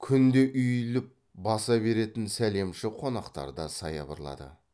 күнде үйіліп баса беретін сәлемші қонақтар да саябырлады